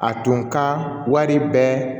A tun ka wari bɛɛ